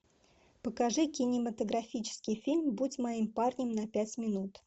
покажи кинематографический фильм будь моим парнем на пять минут